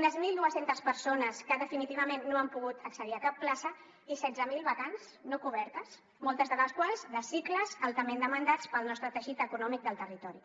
unes mil dos cents persones que definitivament no han pogut accedir a cap plaça i setze mil vacants no cobertes moltes de les quals de cicles altament demandats pel nostre teixit econòmic del territori